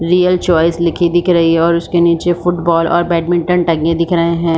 रियाक choice लिखी दिख रही है और उसके निचे फुटबॉल और बैडमिंटन टंगे दिख रहै है।